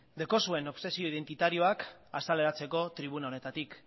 daukazuen obsesio identitarioak azaleratzeko tribuna honetatik